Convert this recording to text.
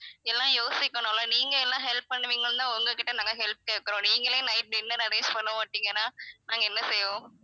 எல்லாம் யோசிக்கணும் இல்ல நீங்க என்ன help பண்ணுவீங்கன்னு உங்க கிட்ட நாங்க help கேட்கிறோம் நீங்களே night dinner arrange பண்ண மாட்டீங்கனா நாங்க என்ன செய்வோம்